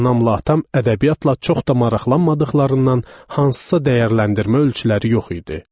Anamla atam ədəbiyyatla çox da maraqlanmadıqlarından hansısa dəyərləndirmə ölçüləri yox idi.